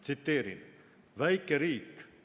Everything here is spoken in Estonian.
Tsiteerin: "Väike riik.